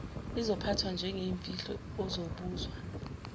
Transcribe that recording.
izophathwa njengeyimfihlo uzobuzwa